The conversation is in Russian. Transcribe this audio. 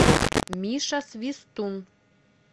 миша свистун